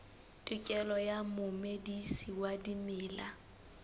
tokelo ya momedisi wa dimela